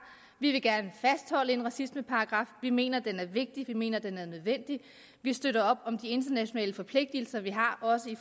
vi vil gerne fastholde en racismeparagraf vi mener den er vigtig vi mener den er nødvendig vi støtter op om de internationale forpligtelser vi har også i